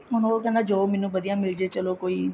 ਉਹ ਕਹਿੰਦਾ job ਮੈਨੂੰ ਵਧੀਆ ਮਿਲਜੇ ਕੋਈ